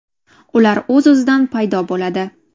Ular o‘z-o‘zidan paydo bo‘ladi.